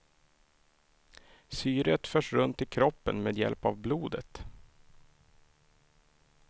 Syret förs runt i kroppen med hjälp av blodet.